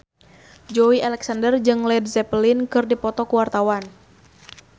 Joey Alexander jeung Led Zeppelin keur dipoto ku wartawan